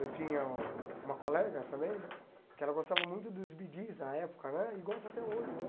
Eu tinha uma colega também, que ela gostava muito dos Bee Gees na época né, e gosta até hoje né.